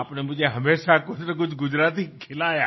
आपने मुझे कुछनाकुछ गुजराती खिलाया